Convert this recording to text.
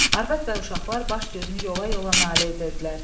Arvad və uşaqlar baş gözünü yola-yola nalə edirdilər.